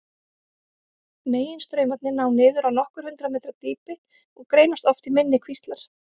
Meginstraumarnir ná niður á nokkur hundruð metra dýpi og greinast oft í minni kvíslar.